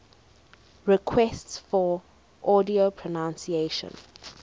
requests for audio pronunciation